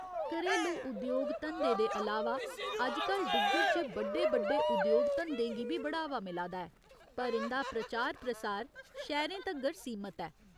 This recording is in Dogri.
घरेलू उद्योग धंदे दे अलावा अजकल डुग्गर च बड्डे बड्डे उद्योग धंदें गी बी बढ़ावा मिला दा ऐ, पर इं'दा प्रचार प्रसार शैह्‌रें तगर सीमत ऐ।